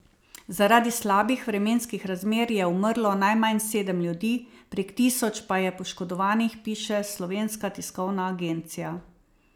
Zaradi slabih vremenskih razmer je umrlo najmanj sedem ljudi, prek tisoč pa je poškodovanih, piše Slovenska tiskovna agencija.